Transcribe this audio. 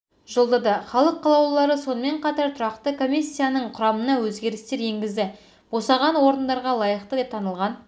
жолдады халық қалаулылары сонымен қатар тұрақты комиссияның құрамына өзгерістер енгізді босаған орындарға лайықты деп танылған